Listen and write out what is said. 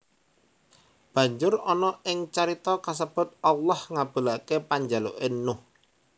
Banjur ana ing carita kasebut Allah ngabulake panjaluke Nuh